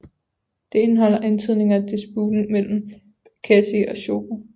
Det indeholder antydninger af disputen mellem Békessy og Schober